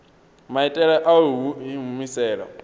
maitele a u i humisela